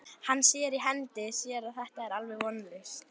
Hann sér í hendi sér að þetta er alveg vonlaust.